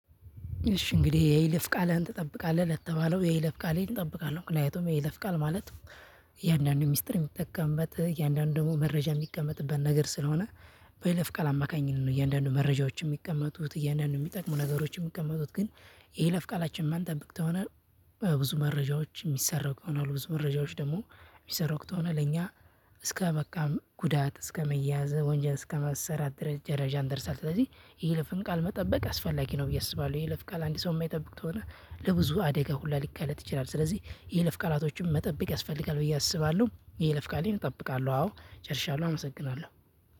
እሺ! እንግዲህ የይለፍ ቃልህን ትጠብቃለህ? ለተባለው የይለፍ ቃሌን እጠብቃለሁ። ምክንያቱም የይለፍ ቃል ማለት እያንዳንዱ ሚስጥር የሚጠቀምበት። እያንዳንዱ ደግሞ መረጃ የሚቀመጥበት ነገር ስለሆነ በይለፍ ቃል አማካኝነት ነው እያንዳንዱ መረጃዎች የሚቀመጡት። እያንዳንዱ የሚጠቅሙ ነገሮች የሚቀመጡት። ግን የይለፍ ቃላችንን ማንጠብቅ ከሆነ ብዙ መረጃዎች የሚሰረቁ ይሆናሉ። ብዙ መረጃዎች ደግሞ ሚሰረቁ ከሆነ ለኛ እስከመቃም ጉዳት እስከመያዘ ወንጀል እስከ መሰራት ደረጃ እንደርሳለን። ስለዚህ የይለፍን ቃል መጠበቅ አስፈላጊ ነው ብዬ አስባለሁ። የይለፍ ቃል አንድ ሰው የማይጠብቅ ከሆነ ለብዙ አደጋ ሁሉ ሊጋለጥ ይችላል። ስለዚህ የይለፍ ቃላቶችን መጠበቅ ያስፈልጋል ብዬ አስባለሁ። የይለፍ ቃሌን እጠብቃለሁ። አዎ! ጨርሻለሁ አመሰግናለሁ።